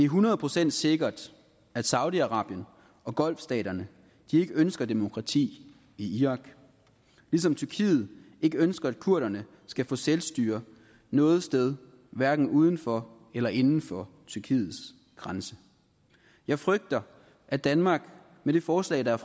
hundrede procent sikkert at saudi arabien og golfstaterne ikke ønsker demokrati i irak ligesom tyrkiet ikke ønsker at kurderne skal få selvstyre noget sted hverken uden for eller inden for tyrkiets grænse jeg frygter at danmark med det forslag der